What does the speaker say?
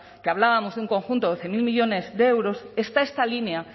que hablábamos de un conjunto de doce mil millónes de euros está esta línea